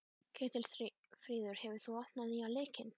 Ketilfríður, hefur þú prófað nýja leikinn?